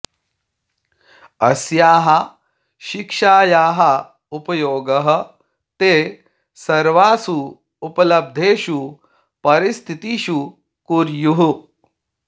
अस्याः शिक्षायाः उपयोगः ते सर्वासु उपलब्धेषु परिस्थितिषु कुर्युः